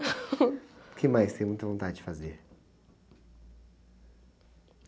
que mais você muita vontade de fazer?